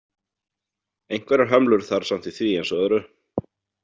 Einhverjar hömlur þarf samt í því eins og öðru.